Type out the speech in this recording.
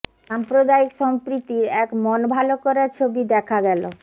সাম্প্রদায়িক সম্প্রীতির এক মন ভালো করা ছবি দেখা গেল